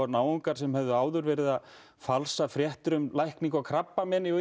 náungar sem höfðu áður verið að falsa fréttir um lækningar við krabbameini og